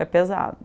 Foi pesado.